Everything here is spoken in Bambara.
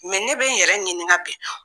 Mɛ ne bɛ n yɛrɛ ɲininga bi